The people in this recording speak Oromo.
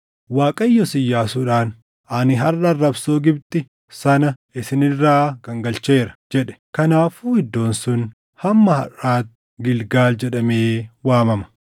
Waaqayyos Iyyaasuudhaan, “Ani harʼa arrabsoo Gibxi sana isin irraa gangalcheera” jedhe. Kanaafuu iddoon sun hamma harʼaatti Gilgaal jedhamee waamama.